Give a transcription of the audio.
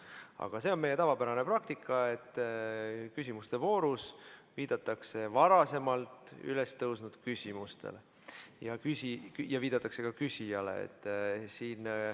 Aga see on meie tavapärane praktika, et küsimuste voorus viidatakse varem üles tõusnud küsimustele ja viidatakse ka küsijale.